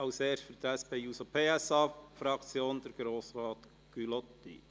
Als Erster spricht für die SP-JUSO-PSAFraktion Grossrat Gullotti.